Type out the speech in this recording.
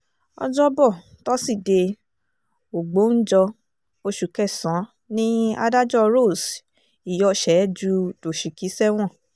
ọjọ́bọ̀ tọ́sídẹ̀ẹ́ ògbóǹjọ oṣù kẹsàn-án ni adájọ́ rose iyorshe ju doshiki sẹ́wọ̀n